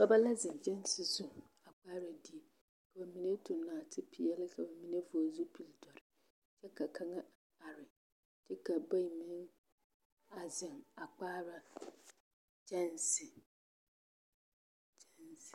Dɔbɔ la zeŋ kyɛnse zu a kpaara die ka bamine toŋ naatepeɛle ka bamine vɔgele zupili dɔre kyɛ ka kaŋa are kyɛ ka bayi meŋ a zeŋ a kpaara kyɛnse.